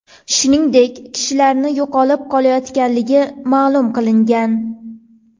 Shuningdek, kishilarning yo‘qolib qolayotganligi ma’lum qilingan.